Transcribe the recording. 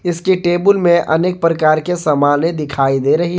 इसके टेबुल में अनेक प्रकार की सामान्य दिखाई दे रही है।